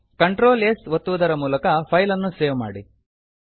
Ctrl s ಒತ್ತುವುದರ ಮೂಲಕ file ಅನ್ನು ಸೇವ್ ಮಾಡಿ